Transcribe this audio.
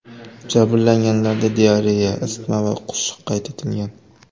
Jabrlanganlarda diareya, isitma va qusish qayd etilgan.